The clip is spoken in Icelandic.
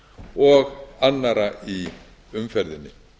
og annarra í umferðinni